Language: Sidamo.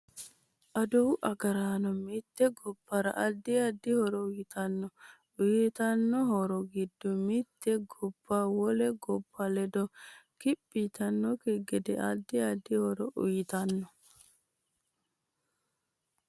Aduwu agaraano mitte gobbara addi addi horo uyiitanno uyiitanno horo giddo mitte gobba wole gobba ledo kiphi yitanokki gede addi addi horo uyiitanno